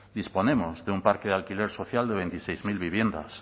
disponemos de un parque de alquiler social de veintiséis mil viviendas